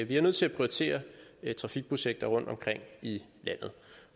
vi er nødt til at prioritere trafikprojekter rundtomkring i landet